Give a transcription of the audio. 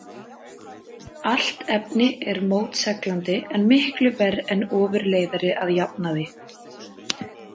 Allt efni er mótseglandi en miklu verr en ofurleiðari að jafnaði.